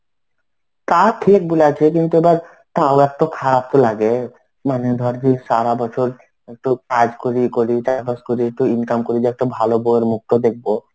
তা টিক বলেছিস কিন্তু এবার তাও একটু খারাপ লাগে মানে ধর যে সারা বছর একটু কাজ করি ইয়ে করি চাষবাস করি একটু income করি যে একটা ভালো বৌয়ের মুখটা দেখবো.